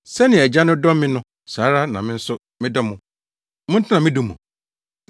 “Sɛnea Agya no dɔ me no, saa ara na me nso medɔ mo, Montena me dɔ mu.